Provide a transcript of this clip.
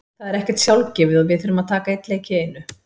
Það er ekkert sjálfgefið og við þurfum að taka einn leik í einu.